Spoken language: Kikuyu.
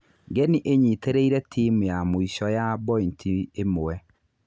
Ngeni ĩnyitĩrĩire timu ya mũico ya bointi ĩmwe.